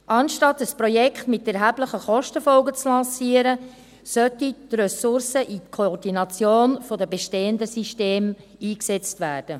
Anstatt ein Projekt mit erheblichen Kostenfolgen zu lancieren, sollten die Ressourcen in die Koordination der bestehenden Systeme eingesetzt werden.